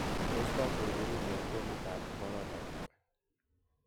Tos tangoe burundi ag bomit amp korona iih?